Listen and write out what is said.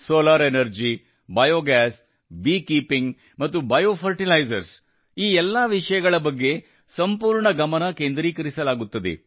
solar energy biogas bee keeping ಮತ್ತು bio fertilisers ಈ ಎಲ್ಲಾ ವಿಷಯಗಳ ಬಗ್ಗೆ ಸಂಪೂರ್ಣ ಗಮನ ಕೇಂದ್ರೀಕರಿಸಲಾಗುತ್ತದೆ